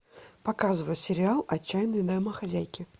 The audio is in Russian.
показывай сериал отчаянные домохозяйки